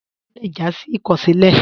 Pànságá lè já sí ìkọsilẹ.